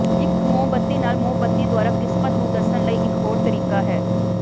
ਇੱਕ ਮੋਮਬੱਤੀ ਨਾਲ ਮੋਮਬੱਤੀ ਦੁਆਰਾ ਕਿਸਮਤ ਨੂੰ ਦੱਸਣ ਲਈ ਇੱਕ ਹੋਰ ਤਰੀਕਾ ਹੈ